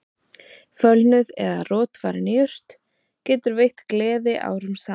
Fölnuð eða rotvarin jurt getur veitt gleði árum saman